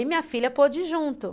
E minha filha pôde ir junto.